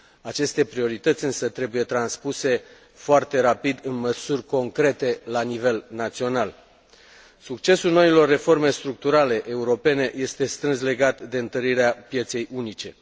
Acest priorități însă trebuie transpuse foarte rapid în măsuri concrete la nivel național. Succesul noilor reforme structurale europene este strâns legat de întărirea pieței unice.